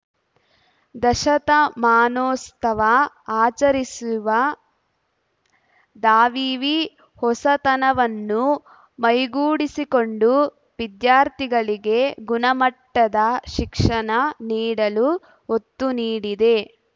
ದಶತಮಾನೋತ್ಸವ ಆಚರಿಸಿರುವ ದಾವಿವಿ ಹೊಸತನವನ್ನು ಮೈಗೂಡಿಸಿಕೊಂಡು ವಿದ್ಯಾರ್ಥಿಗಳಿಗೆ ಗುಣಮಟ್ಟದ ಶಿಕ್ಷಣ ನೀಡಲು ಒತ್ತು ನೀಡಿದೆ